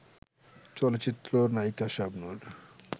চলচ্চিত্র নায়িকা শাবনূর